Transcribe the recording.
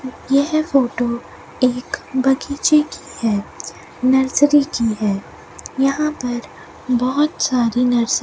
यह फोटो एक बगीचे की है नर्सरी की है यहां पर बहोत सारे नर्सरी --